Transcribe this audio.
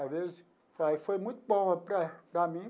Às vezes, vai foi muito bom para para mim,